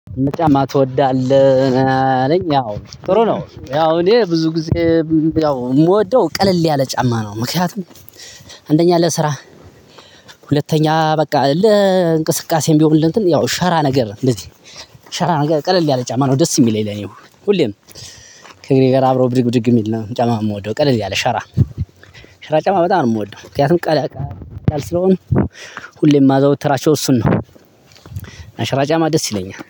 ጫማ ትወዳለህ? አለኝ ያው ጥሩ ነው ያው እኔ ብዙ ጊዜ የምወደው ቀለል ያለ ጫማ ነው ምክንያቱም አንደኛ ለስራ ሁለተኛ በቃ ለእንቅስቃሴም ቢሆን ለእንትን ያው ሸራ ነገር ነው እንደዚህ ሸራ ነገር ቀለል ያለ ጫማ ነው ደስ የሚለኝ ለኔ ሁሌም ከእግሬ ጋር አብሮ ብድግ ብድግ የሚል ነው ጫማ ነው የምወደው ቀለል ያለ ሸራ ሸራ ጨማ በጣም ነው የምወደው ምክንያቱም ቀለል ያለ ስለሆነ ሁሌ የማዘውትራቸው እሱን ነው እና ሸራ ጫማ ደስ ይለኛል።